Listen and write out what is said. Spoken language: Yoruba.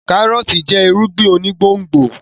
kárọ́ọ̀tì jẹ́ irúgbìn onígbòǹgbò